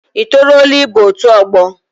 I toruola ịba otu ọgbọ?